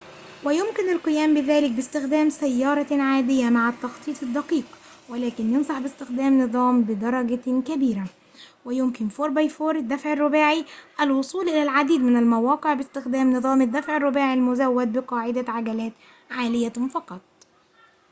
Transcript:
ويمكن القيام بذلك باستخدام سيارة عادية مع التخطيط الدقيق ولكن ينصح باستخدام نظام الدفع الرباعي 4x4 بدرجة كبيرة، ويمكن الوصول إلى العديد من المواقع باستخدام نظام الدفع الرباعي المزود بقاعدة عجلات عالية فقط